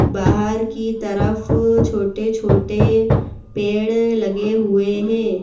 बाहर की तरफ छोटे छोटे पेड़ लगे हुए हैं।